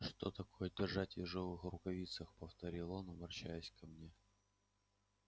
что такое держать в ежовых рукавицах повторил он обращаясь ко мне